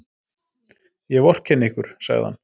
Ég vorkenni ykkur, sagði hann.